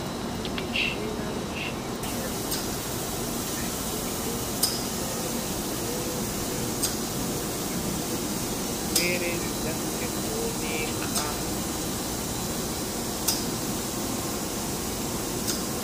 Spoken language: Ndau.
Michina mizhinji yabetsera maningi muzvibhedhlera kuhloye arwere, izvo zvaite kuti zvirwere zvikasike kuoneka.